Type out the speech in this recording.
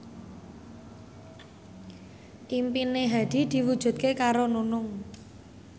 impine Hadi diwujudke karo Nunung